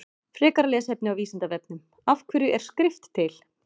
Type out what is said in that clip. Frekara lesefni á Vísindavefnum Af hverju er skrift til?